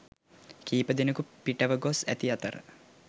කිහිපදෙනකු පිටව ගොස් ඇති අතර